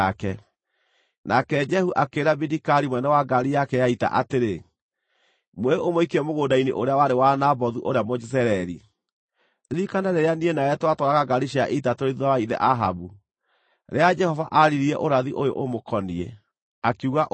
Nake Jehu akĩĩra Bidikari mũnene wa ngaari yake ya ita atĩrĩ, “Muoe ũmũikie mũgũnda-inĩ ũrĩa warĩ wa Nabothu ũrĩa Mũjezireeli. Ririkana rĩrĩa niĩ nawe twatwaraga ngaari cia ita tũrĩ thuutha wa ithe Ahabu, rĩrĩa Jehova aaririe ũrathi ũyũ ũmũkoniĩ, akiuga ũũ: